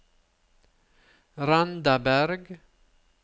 Randaberg